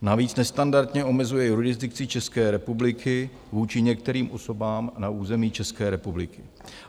Navíc nestandardně omezuje jurisdikci České republiky vůči některým osobám na území České republiky.